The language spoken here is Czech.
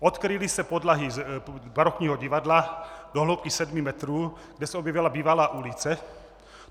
Odkryly se podlahy barokního divadla do hloubky 7 metrů, kde se objevila bývalá ulice.